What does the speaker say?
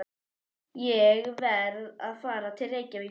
Ég verð að fara til Reykjavíkur!